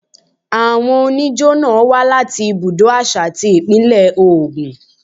Àwọn oníjó náà wá láti ibùdó àṣà ti Ìpínlẹ̀ Ògùn.